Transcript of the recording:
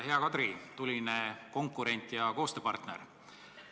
Hea Kadri, tuline konkurent ja koostööpartner!